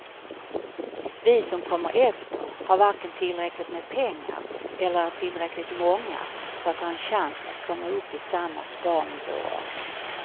Vi som kommer efter har varken tillräckligt med pengar eller är tillräckligt många för att ha en chans att komma upp i samma sparnivåer.